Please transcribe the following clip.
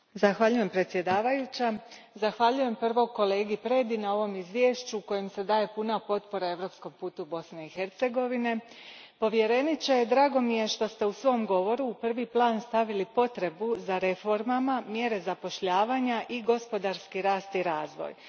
Gospođo predsjednice, zahvaljujem prvo kolegi Predi na ovom izvješću kojim se daje puna potpora europskom putu Bosne i Hercegovine. Povjereniče, drago mi je što ste u svom govoru u prvi plan stavili potrebu za reformama, mjerama zapošljavanja i gospodarskim rastom i razvojem.